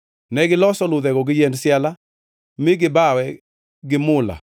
Negiloso ludhego gi yiend siala mi gibawe gi mula